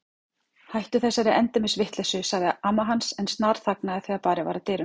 Hættu þessari endemis vitleysu sagði amma hans en snarþagnaði þegar barið var að dyrum.